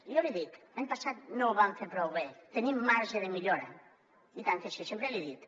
jo l’hi dic l’any passat no ho vam fer prou bé tenim marge de millora i tant que sí sempre l’hi he dit